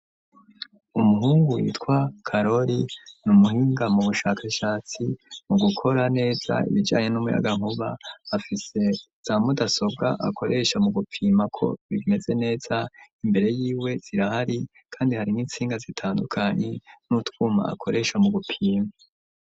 Umuhungu witwa carori n'umuhinga mu bushakashatsi mu gukora neza ibijanye n'umuyagankuba, afise za mudasobwa akoresha mu gupima ko bimeze neza imbere yiwe zirahari kandi hari n'intsinga zitandukanye n'utwuma akoresha mu gupima.